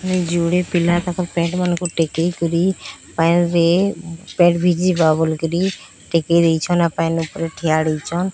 ଯୋଡେ ପିଲା ତାଙ୍କ ପେଣ୍ଟ ମାନଙ୍କୁ ଟେକି କରି ପାଣିରେ ପେଣ୍ଟ ଭିଜି ଯିବା ବୋଲିକରି ଟେକି ଦେଇଛନ୍। ଆଉ ପ୍ୟାନ୍ ଉପରେ ଠିଆ ହେଇଛନ୍।